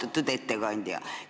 Austatud ettekandja!